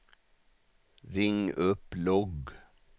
ring upp logg